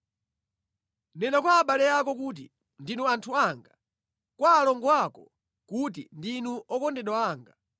“Nena kwa abale ako kuti, ‘Ndinu anthu anga,’ kwa alongo ako kuti ‘Ndinu okondedwa anga.’ ”